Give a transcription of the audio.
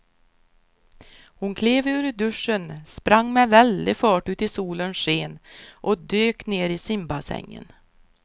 Hon klev ur duschen, sprang med väldig fart ut i solens sken och dök ner i simbassängen.